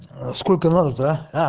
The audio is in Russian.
сколько надо то а